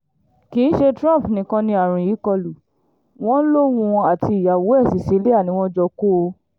kì í ṣe trump nìkan ni àrùn yìí kọlù wọ́n lòun àti ìyàwó ẹ̀ cecilia ni wọ́n jọ kó o